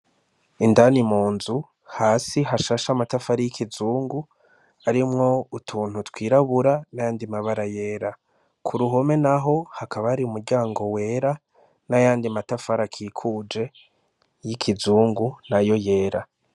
Indani mu nzu hasi hashasha amatafara y'ikizungu arimwo utuntu twirabura nandi mabara yera ku ruhome, naho hakaba ari umuryango wera n'ayandi matafari akikuje y'ikizungu na yo yera.